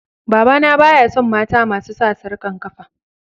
Baba na baya son mata masu sa sarkan kafa.